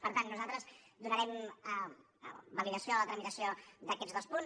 per tant nosaltres donarem validació a la tramitació d’aquests dos punts